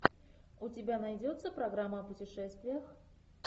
у тебя найдется программа о путешествиях